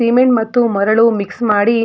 cement ಮತ್ತು ಮರಳು mix ಮಾಡಿ --